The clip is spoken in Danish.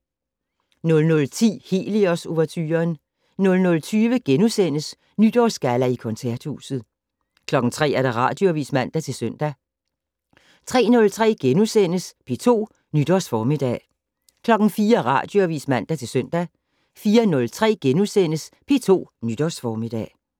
00:10: Helios-ouverturen 00:20: Nytårsgalla i Koncerthuset * 03:00: Radioavis (man-søn) 03:03: P2 Nytårsformiddag * 04:00: Radioavis (man-søn) 04:03: P2 Nytårsformiddag *